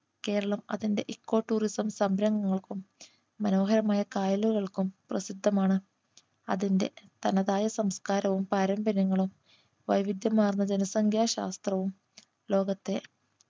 കേരളം അതിൻറെ eco tourism സംരംഭങ്ങൾക്കും മനോഹരമായ കായലുകൾക്കും പ്രസിദ്ധമാണ് അതിൻറെ തനതായ സംസ്കാരവും പാരമ്പര്യങ്ങളും വൈവിധ്യമാർന്ന ജനസംഖ്യ ശാസ്ത്രവും ലോകത്തെ